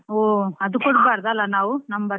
ಹೊ ಅದು ಕೊಡ್ಬಾರ್ದು ಅಲ ನಾವ್ number .